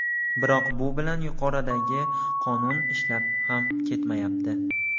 Biroq bu bilan yuqoridagi qonun ishlab ham ketmayapti.